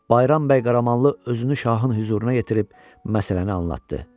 Bayram bəy Qaramanlı özünü şahın hüzuruna yetirib məsələni anladı.